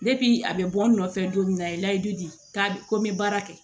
a bɛ bɔ n nɔfɛ don min na a ye layidu dia ko n bɛ baara kɛ